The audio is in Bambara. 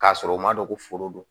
K'a sɔrɔ u ma dɔn ko foro don